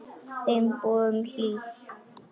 Þeim boðum hlýtt.